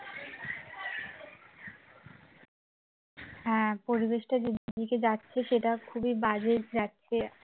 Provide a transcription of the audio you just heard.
হ্যাঁ পরিবেশটা যেদিকে যাচ্ছে সেটা খুবই বাজে যাচ্ছে